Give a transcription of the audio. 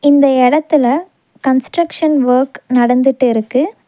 இந்த எடத்துல construction work நடந்துட்டுருக்கு.